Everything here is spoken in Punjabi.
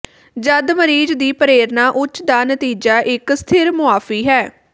ਜਦ ਮਰੀਜ਼ ਦੀ ਪ੍ਰੇਰਨਾ ਉੱਚ ਦਾ ਨਤੀਜਾ ਇੱਕ ਸਥਿਰ ਮੁਆਫ਼ੀ ਹੈ